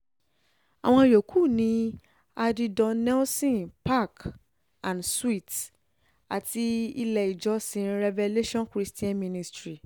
àwọn yòókù ní addie don nelson park um and suites àti ilé ìjọsìn revelation christian um ministry